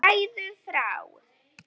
Segðu frá.